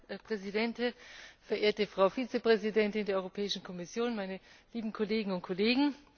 Frau Präsidentin, verehrte Frau Vizepräsidentin der Europäischen Kommission, meine lieben Kolleginnen und Kollegen!